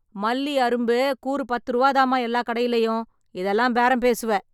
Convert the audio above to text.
மல்லி அரும்பு கூறு பத்து ருபா தான்மா எல்லாக் கடையிலயும், இதெல்லாம் பேரம் பேசுவ.